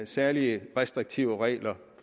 særlig restriktive regler